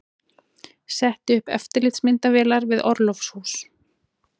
Setti upp eftirlitsmyndavélar við orlofshús